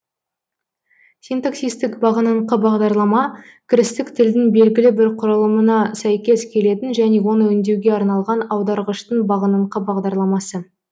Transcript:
синтаксистік бағыныңқы бағдарлама кірістік тілдің белгілі бір құралымына сәйкес келетін және оны өңдеуге арналған аударғыштың бағыныңқы бағдарламасы